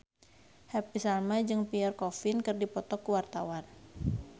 Happy Salma jeung Pierre Coffin keur dipoto ku wartawan